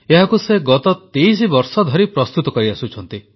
ଏହାକୁ ସେ ଗତ 23 ବର୍ଷ ଧରି ପ୍ରସ୍ତୁତ କରିଆସୁଛନ୍ତି